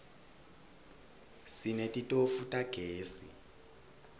sinetitofu tagezi